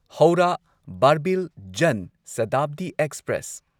Howrah Barbil Jan Shatabdi express